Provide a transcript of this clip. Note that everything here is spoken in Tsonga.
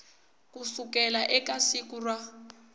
ku suka eka siku ra